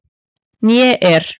Né er